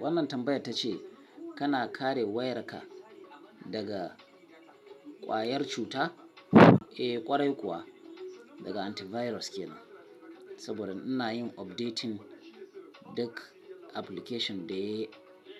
Wannan tambayar ta ce kana kare wayarka daga ƙwayar cuta, eh ƙwarai kuwa daga antivirus kenan, saboda ina yin updating duk application da